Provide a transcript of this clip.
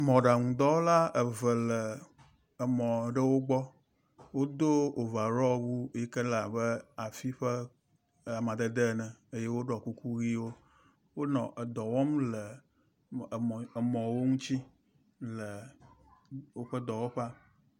Mɔɖaŋudɔwɔla eve aɖewo le mɔ aɖewo gbɔ, wodo overall wu si ke abe afi ƒe amadede ene eyewoɖɔ kuku ʋiwo eye wonɔ edɔ wɔm le emɔwo ŋuti le woƒe dɔwɔƒea